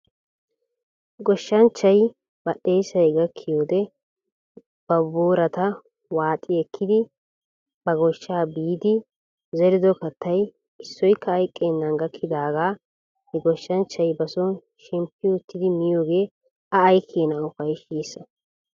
Goshshanchchay badhdheessay gakkiyoo wodiyan ba boorata waaxi ekkidi ba goshshaw biidi zerido kattay issoykka hayqqenan gakkidaagaa he goshshanchchay bason shemppi uttidi miyoogee a aykeenaa ufayssiishsha?